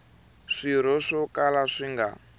swirho swo kala swi nga